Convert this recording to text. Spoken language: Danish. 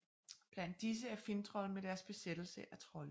Blandt disse er Finntroll med deres besættelse af trolde